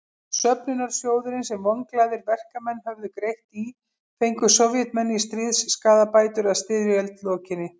Söfnunarsjóðinn sem vonglaðir verkamenn höfðu greitt í fengu Sovétmenn í stríðsskaðabætur að styrjöld lokinni.